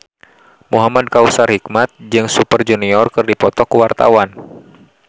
Muhamad Kautsar Hikmat jeung Super Junior keur dipoto ku wartawan